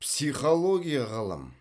психология ғылым